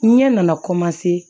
Ɲɛ nana